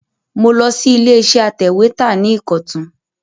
Mo lọ sí ilé iṣẹ́ atẹ̀wẹ́tà ní Ìkọ̀tún